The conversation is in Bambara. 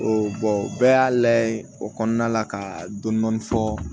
bɛɛ y'a layɛ o kɔnɔna la ka dɔni dɔni fɔ